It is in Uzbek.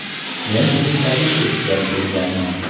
Men bugun taklif eshitgani kelganman.